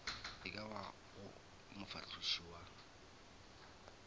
e ka bago mofahloši wa